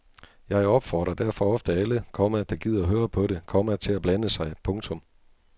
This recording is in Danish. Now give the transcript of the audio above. Jeg opfordrer derfor ofte alle, komma der gider høre på det, komma til at blande sig. punktum